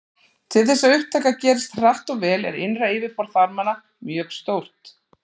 Til þess að upptaka gerist hratt og vel er innra yfirborð þarmanna mjög stórt.